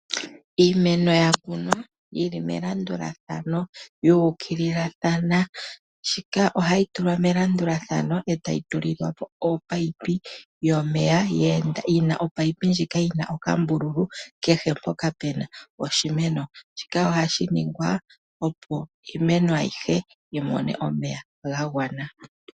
Iimeno yakunwa yi li melandulathano yuukililathana shika ohayi tulwa melandulathano e tayi tulilwa po ominino dhomeya dheenda, ominino dhika dhina okambululu kehe mpoka pe na oshimeno shika ohashi ningwa opo iimeno ayihe yimone omeya gagwana.